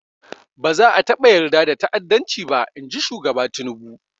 Ba za a taɓa yarda da ta'addanci ba, in ji shugaba Tinubu.